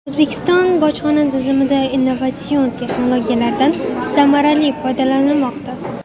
O‘zbekiston bojxona tizimida innovatsion texnologiyalardan samarali foydalanilmoqda.